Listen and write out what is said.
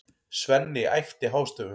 Svenni æpti hástöfum.